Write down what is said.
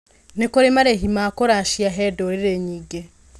Nĩ kũrĩ marĩhĩ ma kũracia he ndũrĩrĩ nyingĩ.